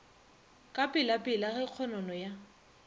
ka pelapela ge kgonono ya